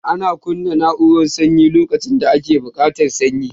Ana kunna na'urara sanyi lokacin da ake buƙatar sanyi